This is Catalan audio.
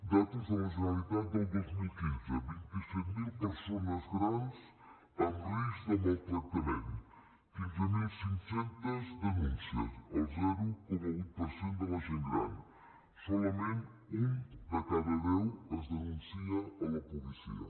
dades de la generalitat del dos mil quinze vint set mil persones grans amb risc de maltractament quinze mil cinc cents denúncies el zero coma vuit per cent de la gent gran solament un de cada deu es denuncia a la policia